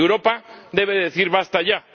Europa debe decir ¡basta ya!